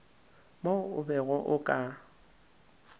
mo o bego o ka